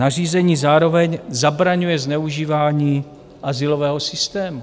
Nařízení zároveň zabraňuje zneužívání azylového systému.